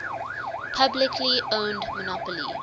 publicly owned monopoly